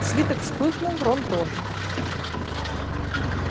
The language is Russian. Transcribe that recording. свиток вспыхнул рон тоже